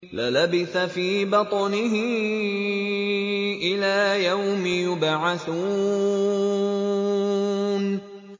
لَلَبِثَ فِي بَطْنِهِ إِلَىٰ يَوْمِ يُبْعَثُونَ